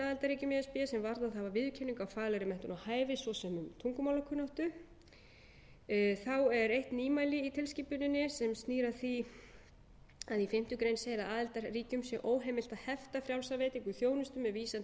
hafa viðurkenningu á faglegri menntun og hæfi svo sem tungumálakunnáttu þá er eitt nýmæli í tilskipuninni sem snýr að því að í fimmtu grein segir að aðildarríkjum sé óheimilt að hefta frjálsa veitingu þjónustu með vísan til